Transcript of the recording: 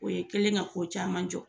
O ye'ikɛlen ka ko caman jɔ.